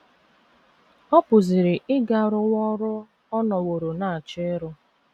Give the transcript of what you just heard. Ọ pụziri ịga rụwa ọrụ ọ nọworo na - achọ ịrụ.